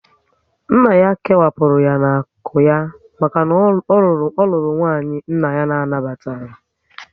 Nna ya kewapụrụ ya n'akụ ya maka na ọ rụrụ nwanyị nna ya anabataghị